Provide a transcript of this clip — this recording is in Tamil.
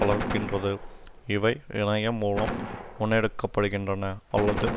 வளர்க்கின்றது இவை இணையம் மூலம் முன்னெடுக்கப்படுகின்றன அல்லது